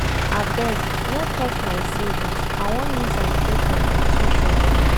Abeg, no touch my savings I wan use am pay for my tuition